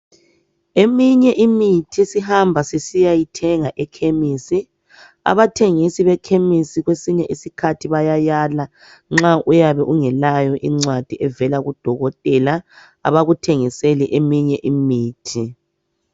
Eminye imithi esihamba sisiyayithenga ekhemisi, abathengisi bekhemisi kwesinye isikhathi bayayala nxa uyabe ungelayo incwadi evela kudokotela abakuthengiseli eminye imithi.